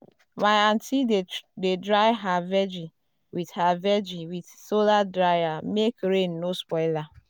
my aunty dey dry her vegi with her vegi with solar dryer make rain no spoil am.